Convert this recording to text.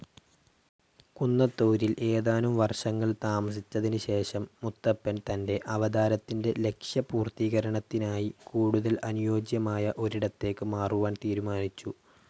കുന്നത്തൂരിൽ ഏതാനും വർഷങ്ങൾ താമസിച്ചതിന് ശേഷം മുത്തപ്പൻ തൻ്റെ അവതാരത്തിൻ്റെ ലക്ഷ്യ പൂർത്തികരണത്തിനായി കൂടുതൽ അനുയോജ്യമായ ഒരിടത്തേക്ക് മാറുവാൻ തീരുമാനിച്ചു.